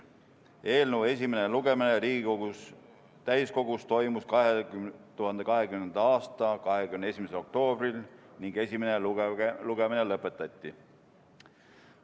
Eelnõu esimene lugemine Riigikogu täiskogus toimus 2020. aasta 21. oktoobril ning esimene lugemine lõpetati.